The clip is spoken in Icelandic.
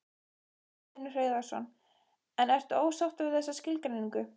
Magnús Hlynur Hreiðarsson: En ertu ósáttur við þessa skilgreiningu?